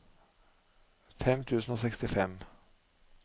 fem tusen og sekstifem